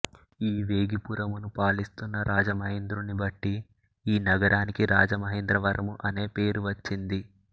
ఈ వేగిపురమును పరిపాలిస్తున్న రాజమహేంద్రుని బట్టి ఈ నగరానికి రాజమహేంద్రవరము అనే పేరు వచ్చింది